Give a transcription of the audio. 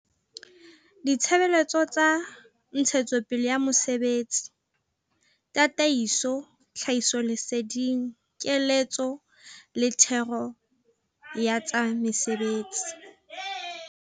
Ditshebeletso tsa ntshetsopele ya mosebetsi, tataiso, tlhahisoleseding, keletso le thero ya tsa mesebetsi.